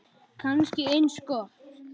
Kannski eins gott.